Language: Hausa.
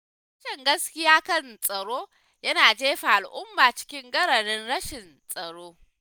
Rashin gaskiya kan tsaro yana jefa al’umma cikin gararin rashin tsaro.